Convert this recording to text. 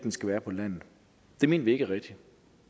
skal være på landet mener vi ikke er rigtigt